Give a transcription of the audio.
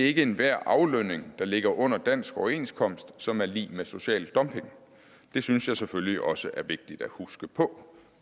ikke enhver aflønning der ligger under dansk overenskomst som er lig med social dumping det synes jeg selvfølgelig også er vigtigt at huske på